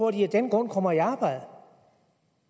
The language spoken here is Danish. at de af den grund kommer i arbejde